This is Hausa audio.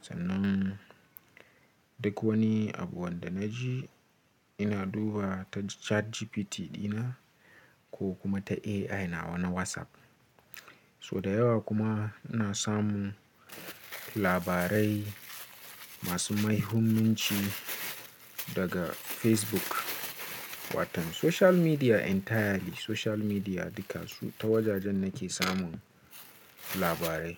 Sannan, duk wani abu wanda na ji, ina duba ta ChatGPT dina ko kuma ta AI na wa na WhatsApp. So da yawa kuma ina samun labarai masu muhimmanci daga Facebook. Watan social media entirely, social media duka su ta wajajen nake samun labarai.